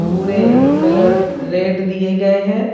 पूरे colour red दिए गए है।